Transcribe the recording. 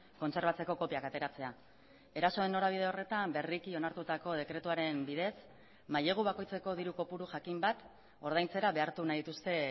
kontserbatzeko kopiak ateratzea erasoen norabide horretan berriki onartutako dekretuaren bidez mailegu bakoitzeko diru kopuru jakin bat ordaintzera behartu nahi dituzte